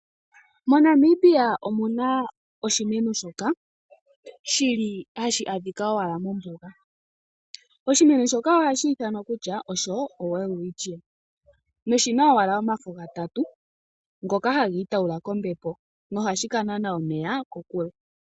MoNamibia omu na oshimeno shoka shili hashi adhika owala mombuga , oshimeno shoka ohashi ithanwa kutya osho Welwitchia noshi na owala omafo gatatu ngoka hagi ituula kombepo, nohashi ka nana omeya kokule.